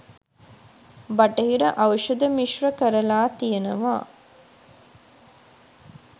බටහිර ඖෂධ මිශ්‍ර කරලා තියෙනවා